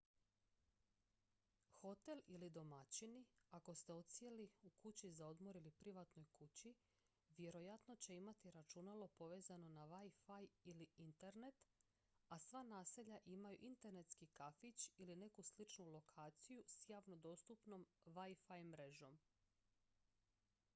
hotel ili domaćini ako ste odsjeli u kući za odmor ili privatnoj kući vjerojatno će imati računalo povezano na wi-fi ili internet a sva naselja imaju internetski kafić ili neku sličnu lokaciju s javno dostupnom wi-fi mrežom